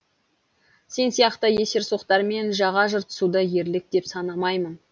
сен сияқты есерсоқтармен жаға жыртысуды ерлік деп санамаймын